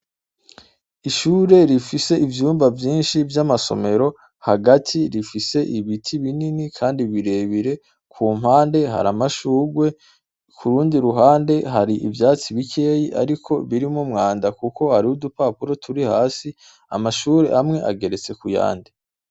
Ishure rifise ivyumba vyinshi vy'amasomero, hagati rifise ibiti binini kandi birebire, ku mpande hari amashugwe, ku rundi ruhande hari ivyatsi bikeyi ariko birimwo umwanda kuko hariho udupapuro turi hasi, amashure amwe amwe ageretse ku yandi.